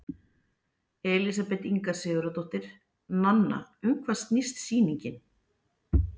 Elísabet Inga Sigurðardóttir: Nanna, um hvað snýst sýningin?